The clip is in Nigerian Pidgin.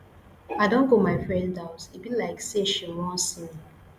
i don go my friend house e be like sey she wan see me